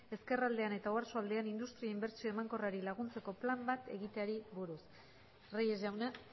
ezkerraldean eta oarsoaldean industria inbertsio emankorrari laguntzeko plan bat egiteari buruz reyes jauna